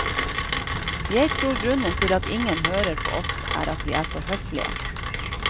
Jeg tror grunnen til at ingen hører på oss, er at vi er for høflige.